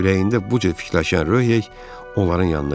Ürəyində bu cür fikirləşən Röh hey onların yanına getdi.